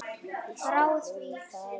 Yst á blöðum faldur.